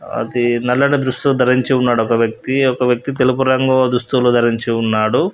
అది నల్లని దుస్తులు ధరించి ఉన్నాడు ఒక వ్యక్తి. ఒక వ్యక్తి తెలుపు రంగు దుస్తులు ధరించి ఉన్నాడు.